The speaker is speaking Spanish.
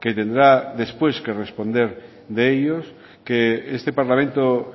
que tendrá después que responder de ellos que este parlamento